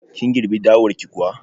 Kin girbi dawar ki kuwa?